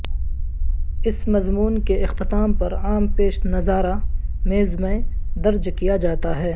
اس مضمون کے اختتام پر عام پیش نظارہ میز میں درج کیا جاتا ہے